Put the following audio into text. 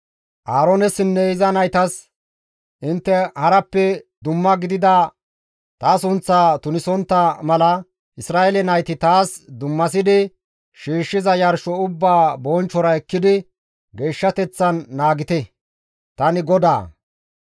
«Aaroonessinne iza naytas, ‹Intte harappe dumma gidida ta sunththaa tunisontta mala Isra7eele nayti taas dummasidi shiishshiza yarsho ubbaa bonchchora ekkidi geeshshateththan naagite; tani GODAA.